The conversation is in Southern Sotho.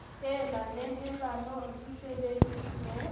hella nehelanong di sebe disitswe